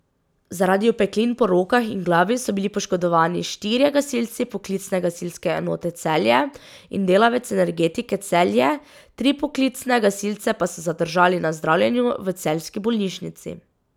Zaradi opeklin po rokah in glavi so bili poškodovani štirje gasilci Poklicne gasilske enote Celje in delavec Energetike Celje, tri poklicne gasilce pa so zadržali na zdravljenju v celjski bolnišnici.